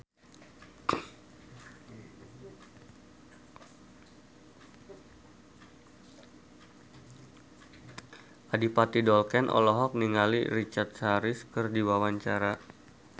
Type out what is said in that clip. Adipati Dolken olohok ningali Richard Harris keur diwawancara